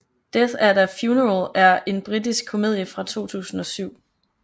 Death at a Funeral er en britisk komedie fra 2007